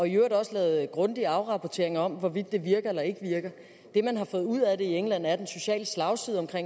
i øvrigt også lavet grundige afrapporteringer om hvorvidt det virker eller ikke virker det man har fået ud af det i england er at den sociale slagside på